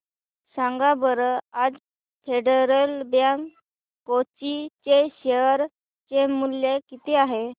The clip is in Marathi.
सांगा बरं आज फेडरल बँक कोची चे शेअर चे मूल्य किती आहे